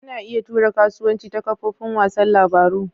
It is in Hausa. Ana iya tura kasuwanci ta kafofin wasan labaru.